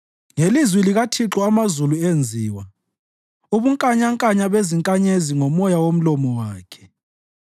Ngelizwi likaThixo amazulu enziwa, ubunkanyankanya bezinkanyezi ngomoya womlomo wakhe.